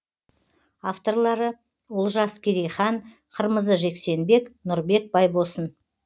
авторлары олжас керейхан қырмызы жексенбек нұрбек байбосын